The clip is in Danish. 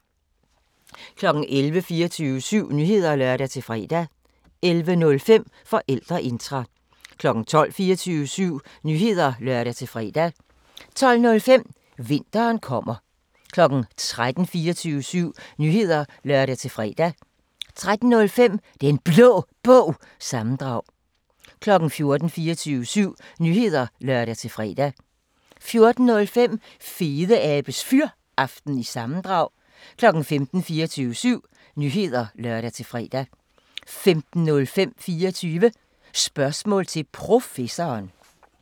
11:00: 24syv Nyheder (lør-fre) 11:05: Forældreintra 12:00: 24syv Nyheder (lør-fre) 12:05: Vinteren kommer 13:00: 24syv Nyheder (lør-fre) 13:05: Den Blå Bog – sammendrag 14:00: 24syv Nyheder (lør-fre) 14:05: Fedeabes Fyraften – sammendrag 15:00: 24syv Nyheder (lør-fre) 15:05: 24 Spørgsmål til Professoren